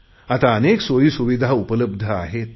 आता अनेक सोयीसुविधा उपलब्ध आहेत